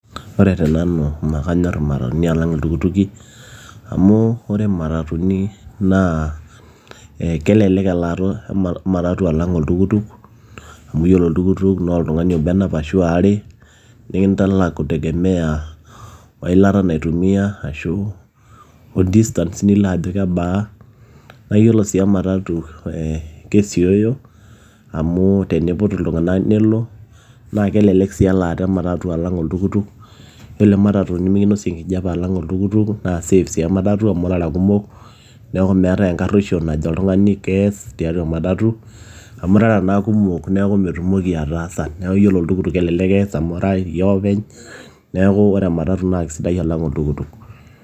Ore tenanu naa kanyor imatatuni alang iltukutuki amu ore imatatuni naa kelelek elaata ematatu Alang oltukutuk amu yiolo oltukutuk naa oltung'ani obo enap ashua waare nikintalak kutegemea weilata naitumia ashuu o distance nilo ajo kebaa naayiolo sii ematatu ee kesiooyo amu teneiput iltung'anak nelo naa kelelek sii elaata ematatu alang oltukutuk yiolo ematatu nemekinosie enkijiape alang oltukutuk naa safe amu irara kumok neeku meetai enkarueisho naajo oltung'ani kees tiatua ematatu amu irara naa kumok neeku metumoki ataasa neeku yiolo oltukutuk kelelek ees amu iyie ake openy neeku ore ematatu naa keisidai olang oltukutuk.